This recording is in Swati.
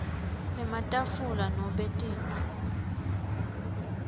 ematafula nobe tintfo